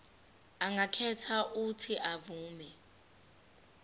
angakhetha uuthi avume